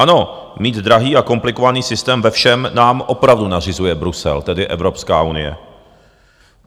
Ano, mít drahý a komplikovaný systém ve všem nám opravdu nařizuje Brusel, tedy Evropská unie.